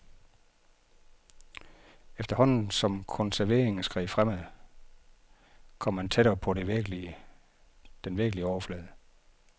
Efterhånden som konserveringen skred fremad, kom man tættere på den virkelige overflade.